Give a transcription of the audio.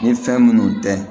Ni fɛn minnu tɛ